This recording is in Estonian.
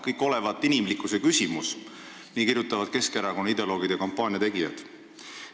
Kõik olevat inimlikkuse küsimus – nii kirjutavad Keskerakonna ideoloogid ja kampaaniategijad.